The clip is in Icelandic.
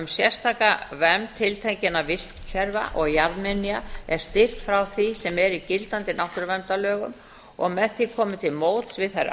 sérstaka vernd tiltekinna vistkerfa og jarðminja er styrkt frá því sem er í gildandi náttúruverndarlögum og með því komið til móts við þær